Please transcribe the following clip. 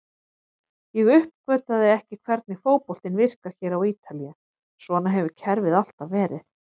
Ég uppgötvaði ekki hvernig fótboltinn virkar hér á Ítalíu, svona hefur kerfið alltaf verið.